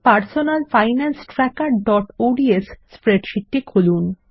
আমাদের personal finance trackerঅডস spreadsheet টি খুলুন